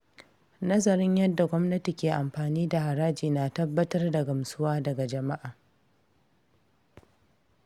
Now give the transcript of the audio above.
Nazarin yadda gwamnati ke amfani da haraji na tabbatar da gamsuwa daga jama’a.